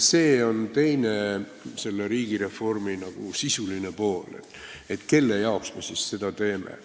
See on selle riigireformi teine, nagu sisuline pool, et kelle jaoks me siis seda teeme.